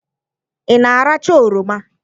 Ị na-aracha oroma?